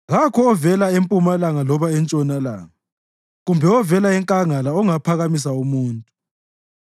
Kakho ovela empumalanga loba entshonalanga, kumbe ovela enkangala ongaphakamisa umuntu.